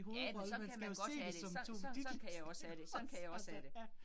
Ja, men sådan kan man godt have det, sådan kan jeg også have det, sådan kan jeg også have det